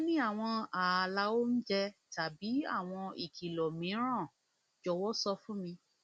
bí o bá ní àwọn ààlà oúnjẹ tàbí àwọn ìkìlọ mìíràn jọwọ sọ fún mi